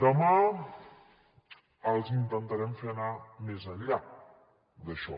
demà els intentarem fer anar més enllà d’això